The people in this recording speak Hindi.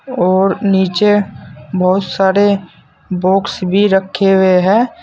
और नीचे बहुत सारे बॉक्स भी रखे हुए हैं।